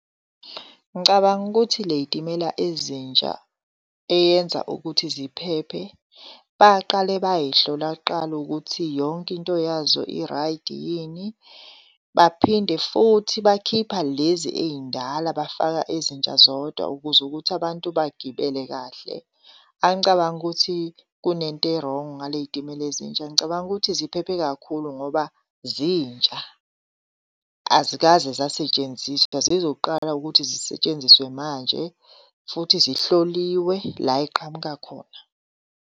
Ngicabanga ukuthi ley'timela ezintsha eyenza ukuthi ziphephe baqale bayihlola kuqala ukuthi yonke into yazo irayidi yini. Baphinde futhi bakhipha lezi ey'ndala bafaka ezintsha zodwa ukuze ukuthi abantu bagibele kahle. Angicabangi ukuthi kunento e-wrong ngale y'timela ezintsha. Ngicabanga ukuthi ziphephe kakhulu ngoba zintsha azikaze zasetshenziswa, zizoqala ukuthi zisetshenziswe manje futhi zihloliwe la ey'qhamuka khona.